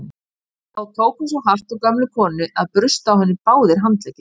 Þá tók hann svo hart á gömlu konunni að brustu á henni báðir handleggir.